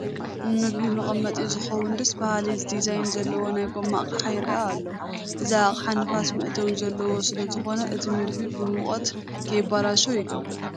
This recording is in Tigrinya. ንምግቢ መቐመጢ ዝኾውን ደስ በሃሊ ዲዛይን ዘለዎ ናይ ጐማ ኣቕሓ ይርአ ኣሎ፡፡ እዚ ኣቅሓ ንፋስ መእተዊ ዘለዎ ስለዝኾነ እቲ ምግቢ ብሙቐት ከይበላሾ ይገብር፡፡